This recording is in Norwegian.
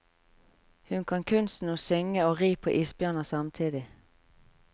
Hun kan kunsten å synge og ri på isbjørner samtidig.